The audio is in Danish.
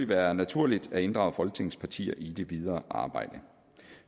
være naturligt at inddrage folketingets partier i det videre arbejde